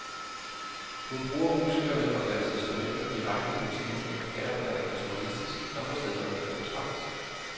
Hun bruger musikerne og deres instrumenter direkte i motiverne, her og der naturalistisk, andre steder mere abstrakt.